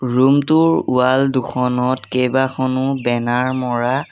room টোৰ wall দুখনত কেইবাখনো বেনাৰ মৰা--